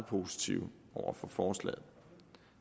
positive over for forslaget